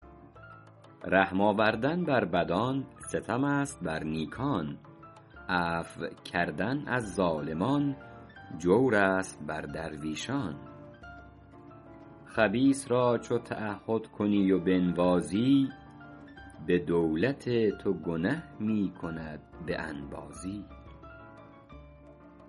رحم آوردن بر بدان ستم است بر نیکان عفو کردن از ظالمان جور است بر درویشان خبیث را چو تعهد کنی و بنوازی به دولت تو گنه می کند به انبازی